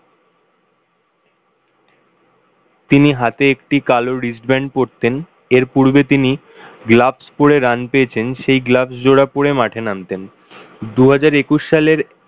তিনি হাতে একটি কালো wrist-band পড়েন, এর পূর্বে তিনি gloves পরে run পেয়েছেন সেই gloves জোড়া পরে মাঠে নামতেন। দুহাজার একুশ সালের